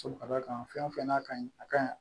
Ka d'a kan fɛn o fɛn n'a ka ɲi a ka ɲi